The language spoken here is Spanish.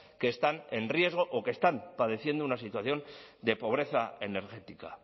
que están en riesgo o que están padeciendo una situación de pobreza energética